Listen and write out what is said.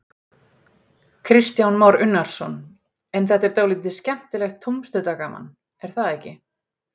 Kristján Már Unnarsson: En þetta er dálítið skemmtilegt tómstundagaman, er það ekki?